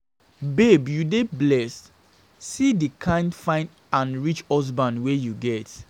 Babe you dey blessed, see the kin fine and rich husband wey you get